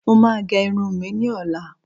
Mo máa gẹ irun mi ní ọ̀la